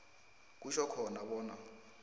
kutjho khona bona